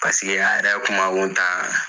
Paseke an yɛrɛ kuma kun taan.